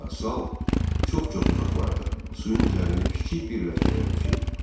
Qayıqla sal çox-çox uzaqlarda, suyun üzərində kiçik bir ləkəyə oxşayırdı.